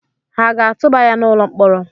Ha aga-atụba ya n’ụlọ mkpọrọ?